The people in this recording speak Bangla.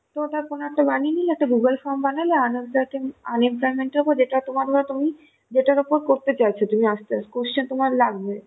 তো ওটা কোনো একটা বানিয়ে নিলে Google form বানালে unemplo~ unemployment এর উপর যেটা তোমার বা তুমি যেটার উপর করতে চাইছ তুমি question তোমার লাগবে